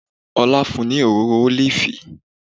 Ọlá fún un ní òróró ólífì